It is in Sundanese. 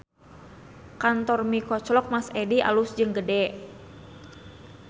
Kantor Mie Koclok Mas Edi alus jeung gede